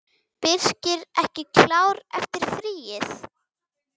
Birkir ekki klár eftir fríið?